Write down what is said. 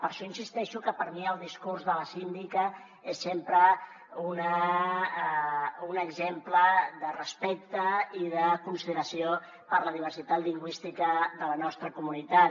per això insisteixo que per mi el discurs de la síndica és sempre un exemple de respecte i de consideració per la diversitat lingüística de la nostra comunitat